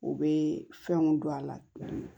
U bɛ fɛnw don a la